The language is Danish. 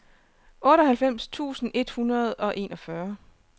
otteoghalvfems tusind et hundrede og enogfyrre